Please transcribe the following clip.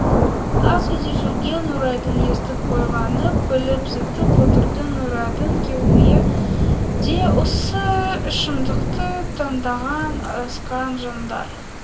асүйде жүрген нұрайдың естіп қойғанын біліп зытып отырды нұрайдың күйеуі де осы ішімдікті таңдаған адасқан жандар